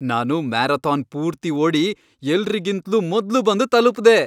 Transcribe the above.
ನಾನು ಮ್ಯಾರಥಾನ್ ಪೂರ್ತಿ ಓಡಿ ಎಲ್ರಿಗಿಂತ್ಲೂ ಮೊದ್ಲು ಬಂದು ತಲುಪ್ದೆ.